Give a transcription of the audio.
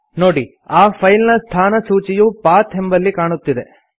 ನೋಡಿ ಆ ಫೈಲ್ ನ ಸ್ಥಾನ ಸೂಚಿಯು ಪಥ್ ಎಂಬಲ್ಲಿ ಕಾಣುತ್ತಿದೆ